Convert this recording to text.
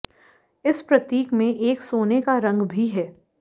इस प्रतीक में एक सोने का रंग भी है